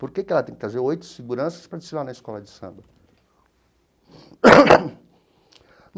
Por que que ela tem que trazer oito seguranças para desfilar na escola de samba?